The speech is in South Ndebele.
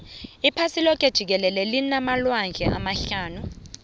iphasi loke jikelele linamalwandle amahlanu